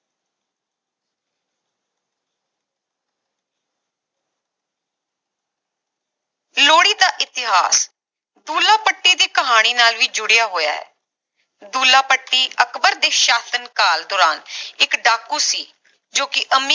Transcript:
ਲੋਹੜੀ ਦਾ ਇਤਿਹਾਸ ਦੁੱਲਾ ਭੱਟੀ ਦੀ ਕਹਾਣੀ ਨਾਲ ਵੀ ਜੁੜਿਆ ਹੋਇਆ ਹੈ ਦੁੱਲਾ ਭੱਟੀ ਅਕਬਰ ਦੇ ਸਾਸ਼ਨ ਕਾਲ ਦੌਰਾਨ ਇਕ ਡਾਕੂ ਸੀ ਜੋ ਕਿ ਅਮੀ